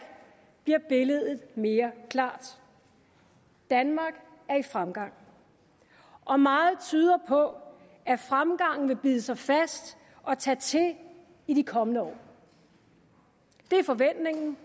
bliver billedet mere klart danmark er i fremgang og meget tyder på at fremgangen vil bide sig fast og tage til i de kommende år det er forventningen